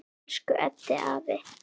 Elsku Eddi afi.